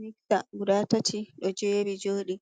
Miksa guda tati, do jeeri jodi,